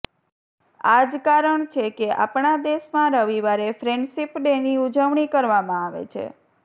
આ જ કારણ છે કે આપણા દેશમાં રવિવારે ફ્રેન્ડશીપ ડેની ઉજવણી કરવામાં આવે છે